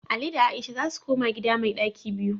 Ali da Aisha za su koma gida mai ɗaki biyu